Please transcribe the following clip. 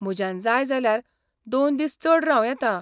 म्हज्यान जाय जाल्यार दोन दीस चड रावं येता.